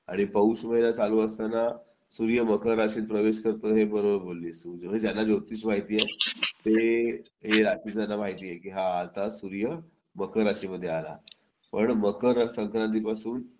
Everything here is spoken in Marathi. आणि पाऊस वगैरे चालू असताना सूर्य मकर राशीत प्रवेश करतो हे बरोबर बोललीस म्हणजे ज्यांना ज्योतिष माहिती आहे ते हे ज्यांना माहिती आहे की हा आता सूर्य मकर राशीमध्ये आला पण मकर संक्रांतीपासून